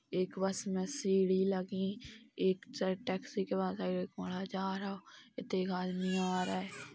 एक बस में सीढ़ी लगी। एक जा टैक्सी का कोना जा रओ। इते एक आदमी आ रहा है।